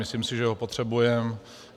Myslím si, že ho potřebujeme.